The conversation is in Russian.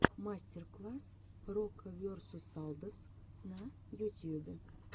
мастер класс рокаверсусалдос на ютьюбе